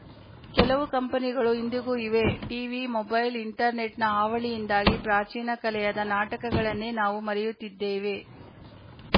ಕೆಲವು ಕಂಪನಿಗಳು ಇಂದಿಗೂ ಇವೆ ಟಿವಿ ಮೊಬೈಲ್‌ ಇಂಟರ್‌ನೆಟ್‌ನ ಹಾವಳಿಯಿಂದಾಗಿ ಪ್ರಾಚೀನ ಕಲೆಯಾದ ನಾಟಕಗಳನ್ನೇ ನಾವು ಮರೆಯುತ್ತಿದ್ದೇವೆ